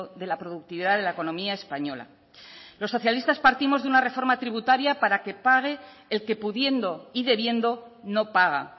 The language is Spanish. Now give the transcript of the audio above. de la productividad de la economía española los socialistas partimos de una reforma tributaria para que pague el que pudiendo y debiendo no paga